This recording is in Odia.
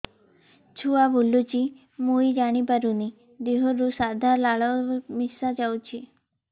ଛୁଆ ବୁଲୁଚି ମୁଇ ଜାଣିପାରୁନି ଦେହରୁ ସାଧା ଲାଳ ମିଶା ଯାଉଚି